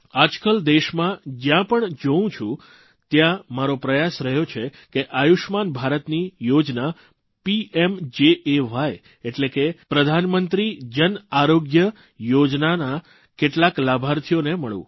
આજકાલ દેશમાં જયા પણ જાઉં છું ત્યાં મારો પ્રયાસ રહ્યો છે કે આયુષ્યમાન ભારતની યોજના પીએમજેએઆઇ એટલે કે પ્રધાનમંત્રી જન આરોગ્ય યોજનાના કેટલાક લાભાર્થીઓને મળું